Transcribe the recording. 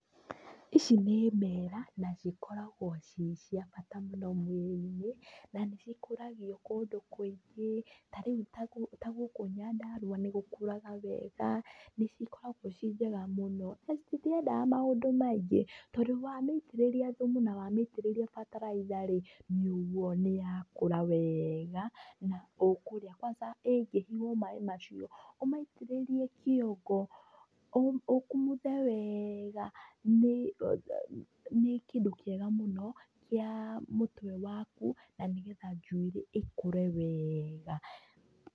Ici nĩ mbera na cikoragwo ciĩ cia bata mũno mwirĩ-inĩ na nĩ cikũragio kũndũ kũingĩ tarĩu ta gũkũ Nyandarũa nĩ gũkũraga wega nĩ cikoragwo ciĩ njega mũno. Na citiendaga maũndũ maingĩ tondũ wa mĩitĩrĩria thumu na wa mĩitĩrĩria bataraitha rĩ nĩ ũguo nĩ yakũra wega na ũkũrĩa. Kwanza ĩngĩhihwo maaĩ macio ũmaitĩrĩrie kĩongo ũkumũthe wega nĩ kĩndũ kĩega mũno kĩa mũtwe waku na nĩ getha njuĩrĩ ĩkũre wega.